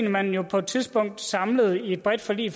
at man på et tidspunkt samlet i et bredt forlig i